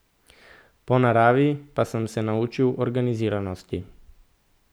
Po naravi pa sem se naučil organiziranosti.